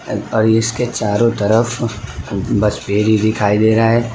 और इसके चारों तरफ बस पेड़ ही दिखाई दे रहा है।